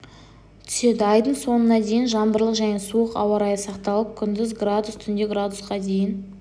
түседі айдың соңына дейін жаңбырлы және суық ауа райы сақталып күндіз градус түнде градусқа дейін